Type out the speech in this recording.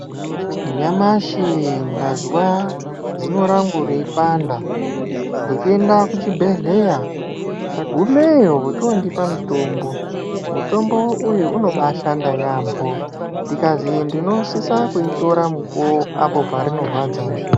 Nyamashi ndazwa zino rangu rei panda ndocho enda ku chibhedhleya nda gumeyo vocho ndipa mutombo mutombo uyu unobai shanda yambo ndikazi ndino sisa kuyi tora mukuwo apo parino rwadza zve.